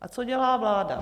A co dělá vláda?